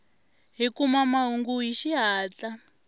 hi kuma mahungu hi xihatla